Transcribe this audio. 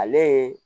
Ale ye